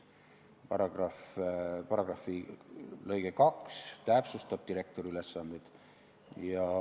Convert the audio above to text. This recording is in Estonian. Selle paragrahvi lõige 2 täpsustab direktori ülesandeid.